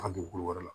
A dugukolo wɛrɛ la